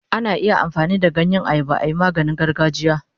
Ana iya amfani da ganyen ayaba ayi maganin gargajiya.